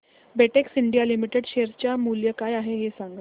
Betex India Limited share चे मूल्य काय आहे हे सांगा